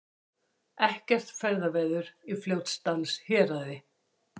Ekkert ferðaveður á Fljótsdalshéraði